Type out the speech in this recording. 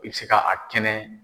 I bɛ se ka a kɛnɛ